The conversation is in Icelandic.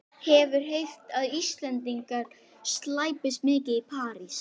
Sporaðu eins lítið út og þú getur.